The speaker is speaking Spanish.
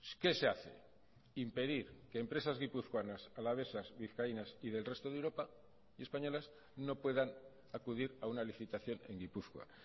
qué se hace impedir que empresas guipuzcoanas alavesas vizcaínas y del resto de europa y españolas no puedan acudir a una licitación en gipuzkoa